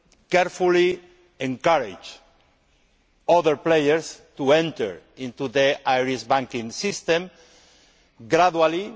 will carefully encourage other players to enter into the Irish banking system gradually.